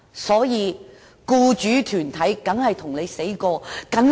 因此，僱主團體當然誓死反對。